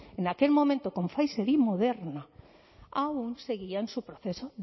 en aquel momento con pfizer y moderna aún seguían su proceso